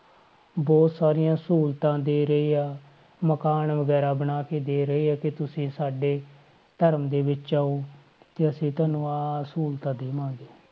ਬਹੁਤ ਸਾਰੀਆਂ ਸਹੂਲਤਾਂ ਦੇ ਰਹੇ ਆ ਮਕਾਨ ਵਗ਼ੈਰਾ ਬਣਾ ਕੇ ਦੇ ਰਹੇ ਆ ਕਿ ਤੁਸੀਂ ਸਾਡੇ ਧਰਮ ਦੇ ਵਿੱਚ ਆਓ ਕਿ ਅਸੀਂ ਤੁਹਾਨੂੰ ਆਹ ਆਹ ਸਹੂਲਤਾਂ ਦੇਵਾਂਗੇ